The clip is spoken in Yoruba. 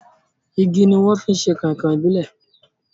Igi ni wọ́n fi ṣe Kọ̀nkọ̀ ìbílè